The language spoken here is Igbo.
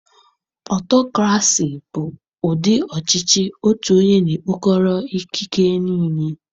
Ọtọcrasi bụ ụdị ọchịchị otu onye na-ekpokọrọ ikike niile.